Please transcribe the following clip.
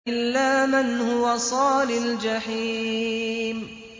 إِلَّا مَنْ هُوَ صَالِ الْجَحِيمِ